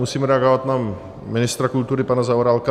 Musím reagovat na ministra kultury pana Zaorálka.